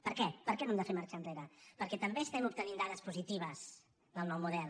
per què per què no hem de fer marxa enrere perquè també estem obtenint dades positives del nou model